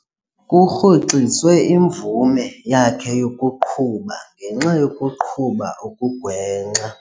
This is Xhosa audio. Kurhoxiswe imvume yakhe yokuqhuba ngenxa yokuqhuba okugwenxa.